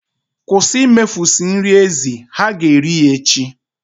Kwụsị imefusị nri ezi. Ha ga-eri ya echi.